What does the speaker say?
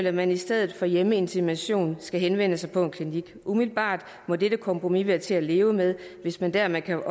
at man i stedet for hjemmeinsemination skal henvende sig på en klinik umiddelbart må dette kompromis være til at leve med hvis man dermed kan